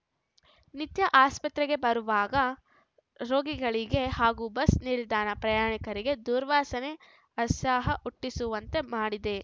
ನಿತ್ಯ ಆಸ್ಪತ್ರೆಗೆ ಬರುವಾಗ ರೋಗಿಗಳಿಗೆ ಹಾಗೂ ಬಸ್‌ ನಿಲ್ದಾಣದ ಪ್ರಯಾಣಿಕರಿಗೆ ದುರ್ವಾಸನೆ ಆಸಹ ಹುಟ್ಟಿಸುವಂತೆ ಮಾಡಿದೆ